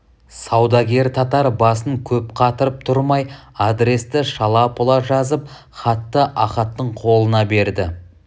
саудагер татар басын көп қатырып тұрмай адресті шала-пұла жазып хатты ахаттың қолына берді